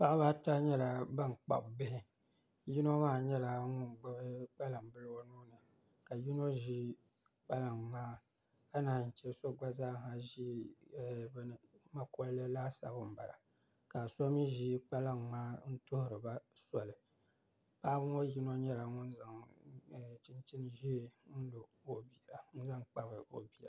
Paɣaba ata nyɛla ban kpabi bihi yino maa nyɛla ŋun gbubi kpalaŋa bili o nuuni ka yino ʒi kpalaŋa maa ka naan yi chɛ so gba zaaha ʒi mankollɛ laasabu n bala ka so mii ʒi kpalaŋ ŋmaa n tuhuriba soli paɣaba ŋɔ yino nyɛla ŋun zaŋ chinchini ʒiɛ n zaŋ kpabi o bia